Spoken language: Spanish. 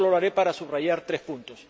solo lo haré para subrayar tres puntos.